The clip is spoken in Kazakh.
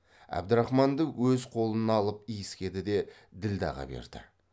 әбдірахманды өз қолына алып иіскеді де ділдәға берді